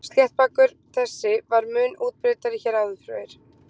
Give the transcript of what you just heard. Sléttbakur þessi var mun útbreiddari hér áður fyrr.